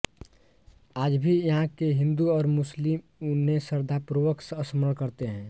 आज भी यहाँ के हिन्दू और मुस्लिम उन्हें श्रद्धापूर्वक स्मरण करते हैं